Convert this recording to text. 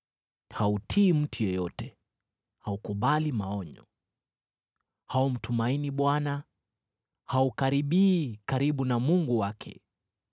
Hautii mtu yeyote, haukubali maonyo. Haumtumaini Bwana , haukaribii karibu na Mungu wake.